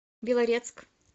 белорецк